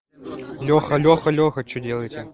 леха леха леха что делаете